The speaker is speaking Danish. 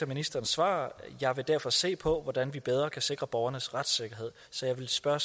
ministerens svar jeg vil derfor se på hvordan vi bedre kan sikre borgernes retssikkerhed så jeg vil spørge